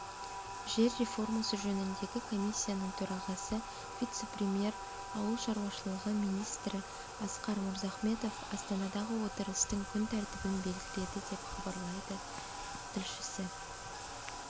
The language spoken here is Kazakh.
жер реформасы жөніндегі комиссияның төрағасы вице-премьер ауыл шаруашылығы министрі асқар мырзахметов астанадағы отырыстың күн тәртібін белгіледі деп хабарлайды тілшісі